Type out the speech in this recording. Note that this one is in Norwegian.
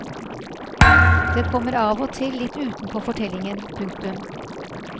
Det kommer av og til litt utenpå fortellingen. punktum